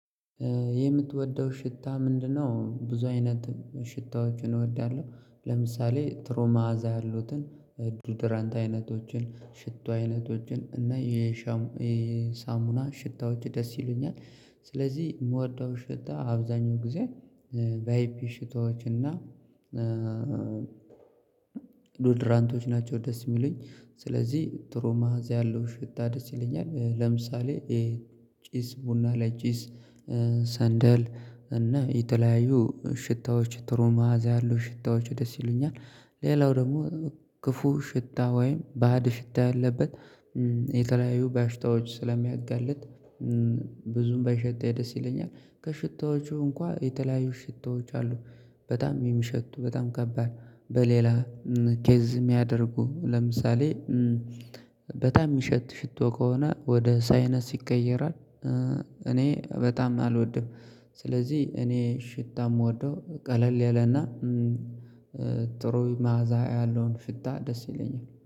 የምትወደው ሽታ ምንድነው? ብዙ አይነት ሽታዎችን እወዳለሁ ለምሳሌ ትሮ መዓዛ ያሉትን ዱድራንት አይነቶችን ሽቶ አይነቶችን እና የሻም የ የሳሙና ሽታዎች ደስ ይሉኛል። ስለዚህ የምወደው ሽታ አብዛኛው ጊዜ በአይፒ ሽታዎች እና ዶድራንቶች ናቸው ደስ የሚሉኝ። ስለዚህ ጥሩ መዓዛ ያለው ሽታ ደስ ይለኛል። ለምሳሌ ይሄ ጪስ ቡና ላይ ጪስ ሰንደል እና የተለያዩ ሽታዎች ጥሩ መዓዛ ያሉ ሽታዎች ደስ ይሉኛል። ሌላው ደግሞ ክፉ ሽታ ወይም ባዕድ ሽታ ያለበት የተለያዩ በሽታዎች ስለሚያጋልጥ። ብዙም ባይሸተኝ ደስ ይለኛል ከሽታዎቹ እንኳን የተለያዩ ሽታዎች አሉ። በጣም የሚሸቱ በጣም ከባድ በሌላ ኬዝ የሚያደርጉ ለምሳሌ በጣም የሚሸት ሽቶ ከሆነ ወደ ሳይነስ ይቀየራል። እኔ በጣም አልወድም። ስለዚህ እኔ ሽታ የምወደው ቀለል ያለና ጥሩ መዓዛ ያለውን ሽታ ደስ ይለኛል